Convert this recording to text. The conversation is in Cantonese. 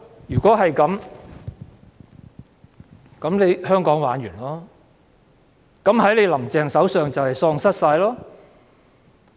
如果這樣，那麼香港便完蛋了，香港便會在"林鄭"手上喪失一切。